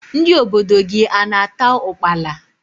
Ndị obodo gị a na-ata ukpala?